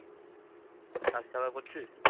কাজ কারবার করছিস?